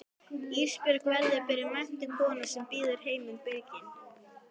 Ísbjörg verður að vera menntuð kona sem býður heiminum byrginn.